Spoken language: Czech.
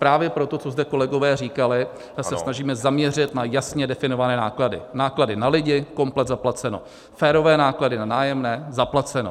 Právě pro to, co zde kolegové říkali, se snažíme zaměřit na jasně definované náklady, náklady na lidi, komplet zaplaceno, férové náklady na nájemné, zaplaceno.